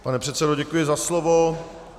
Pane předsedo, děkuji za slovo.